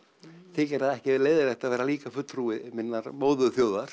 þykir það ekki leiðinlegt að vera líka fulltrúi minnar